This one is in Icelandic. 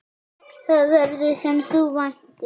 Það verður, sem þú væntir.